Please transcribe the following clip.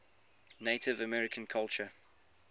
native american culture